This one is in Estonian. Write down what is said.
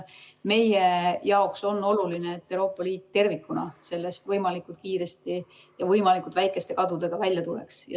Meie jaoks on oluline, et Euroopa Liit tervikuna sellest võimalikult kiiresti ja võimalikult väikeste kadudega välja tuleks.